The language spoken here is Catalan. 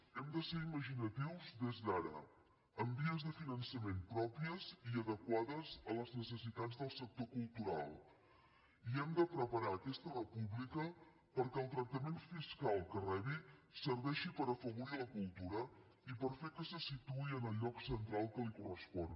hem de ser imaginatius des d’ara amb vies de finançament pròpies i adequades a les necessitats del sector cultural i hem de preparar aquesta república perquè el tractament fiscal que rebi serveixi per afavorir la cultura i per fer que se situï en el lloc central que li correspon